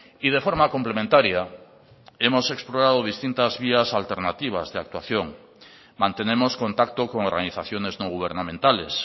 y de forma complementaria hemos explorado distintas vías alternativas de actuación mantenemos contacto con organizaciones no gubernamentales